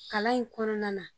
Kalan in kɔnɔna na.